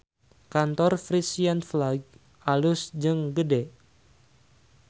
Kantor Frisian Flag alus jeung gede